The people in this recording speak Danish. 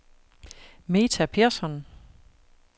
Metha Pehrson